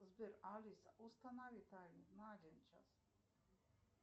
сбер алиса установи таймер на один час